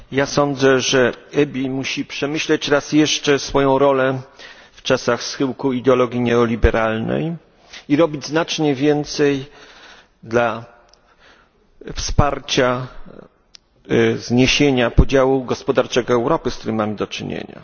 Sądzę, że EBI musi przemyśleć raz jeszcze swoją rolę w czasach schyłku ideologii neoliberalnej i robić znacznie więcej, aby wspierać zniesienie podziału gospodarczego Europy, z którym mamy do czynienia.